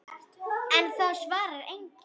En það svarar enginn.